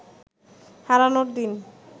হারানোর দিন